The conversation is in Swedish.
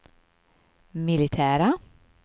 militära